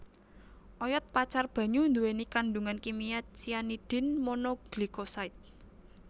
Oyod pacar banyu nduwèni kandhungan kimia cyanidin mono glycoside